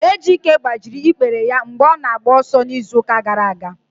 Ejike gbajiri ikpere ya mgbe ọ na-agba ọsọ n'izu gara aga.